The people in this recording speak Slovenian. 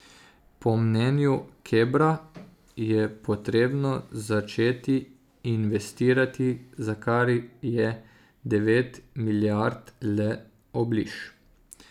Po mnenju Kebra je potrebno začeti investirati, za kar je devet milijard le obliž.